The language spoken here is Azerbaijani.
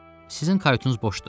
Sizin kayutunuz boşdur.